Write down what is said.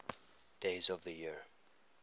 days of the year